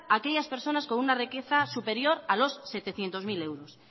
a aquellas personas con una riqueza superior a los setecientos mil euros